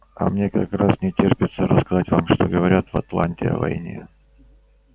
а мне как раз не терпится рассказать вам что говорят в атланте о войне